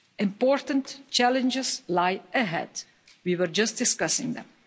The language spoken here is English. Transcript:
Important challenges lie ahead we were just discussing them.